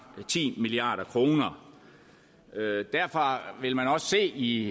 ti milliard kroner derfor vil man også se i